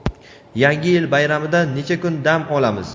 Yangi yil bayramida necha kun dam olamiz?.